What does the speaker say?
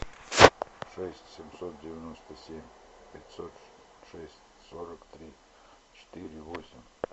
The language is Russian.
шесть семьсот девяносто семь пятьсот шесть сорок три четыре восемь